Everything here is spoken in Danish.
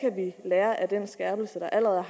lære af den skærpelse der allerede